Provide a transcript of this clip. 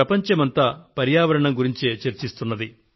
ప్రపంచమంతా ఇవాళ పర్యావరణాన్ని గురించే చర్చిస్తోంది